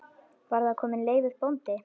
Var þar kominn Leifur bóndi.